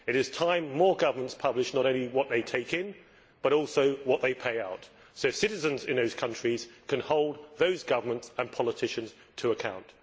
It is time more governments published not only what they take in, but also what they pay out, so that citizens in the respective countries can hold those governments and politicians to account.